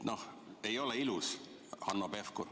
Noh, ei ole ilus, Hanno Pevkur.